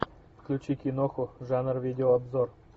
включи киноху жанр видео обзор